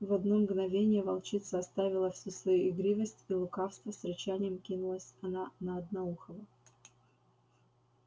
в одно мгновение волчица оставила всю свою игривость и лукавство с рычанием кинулась она на одноухого